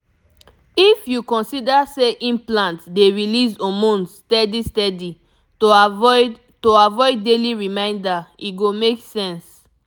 if you consider say implant dey release hormones steady steady to avoid to avoid daily reminder e go make sense.